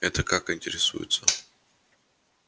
это как интересуется